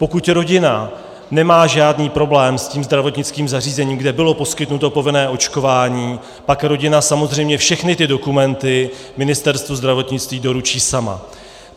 Pokud rodina nemá žádný problém s tím zdravotnickým zařízením, kde bylo poskytnuto povinné očkování, pak rodina samozřejmě všechny ty dokumenty Ministerstvu zdravotnictví doručí sama.